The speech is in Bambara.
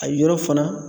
A yɔrɔ fana